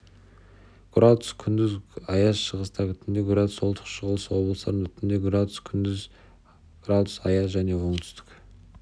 градус күндіз градус аяз шығыста түнде градус солтүстік-шығыс облыстарында түнде градус күндіз градус аяз жәнеоңтүстік